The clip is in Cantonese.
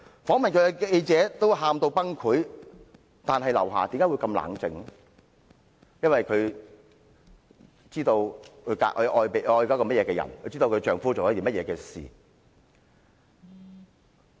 訪問她的記者都哭得崩潰，但劉霞卻很冷靜，因為她知道她所愛的是甚麼人，她知道她的丈夫在做甚麼事。